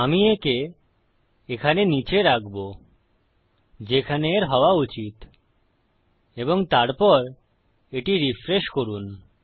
আমি একে এখানে নীচে রাখবো যেখানে এর হওয়া উচিত এবং তারপর এটি রিফ্রেশ করুন